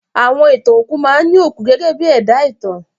Àwọn ìtàn òkú máa ní òkú gẹ́gẹ́ bí ẹ̀dá ìtàn wọn.